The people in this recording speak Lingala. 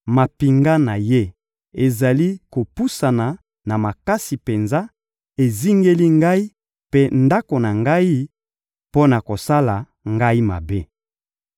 mampinga na Ye ezali kopusana na makasi penza, ezingeli ngai mpe ndako na ngai mpo na kosala ngai mabe.